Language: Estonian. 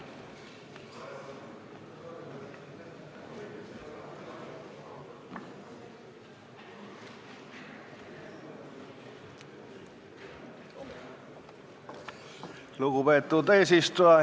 Lugupeetud eesistuja!